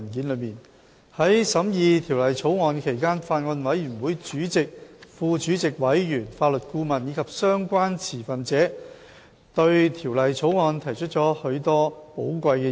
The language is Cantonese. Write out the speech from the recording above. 在審議《私營骨灰安置所條例草案》期間，法案委員會的主席、副主席、委員、法律顧問及相關持份者對《條例草案》提出了許多寶貴的意見。